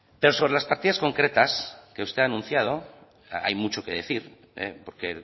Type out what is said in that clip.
pero sobre las partidas concretas que usted ha anunciado hay mucho que decir porque